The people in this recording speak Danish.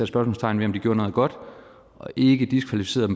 spørgsmålstegn ved om de gjorde noget godt og ikke diskvalificerede